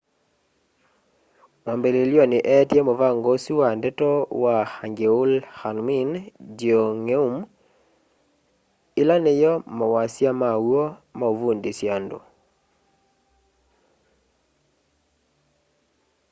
mwambililyoni eetie muvango usu wa ndeto wa hangeul hunmin jeongeum ila niyo mawasya ala maw'o ma uvundusya andu